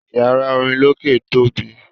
Iyàrá orin lókè tobi.